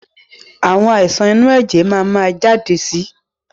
Àwọn àìsàn inú ẹ̀jẹ̀ máa ma jáde si